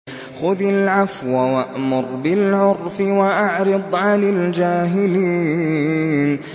خُذِ الْعَفْوَ وَأْمُرْ بِالْعُرْفِ وَأَعْرِضْ عَنِ الْجَاهِلِينَ